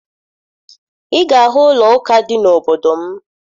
Ị ga-ahụ ụlọụka dị n'obodo m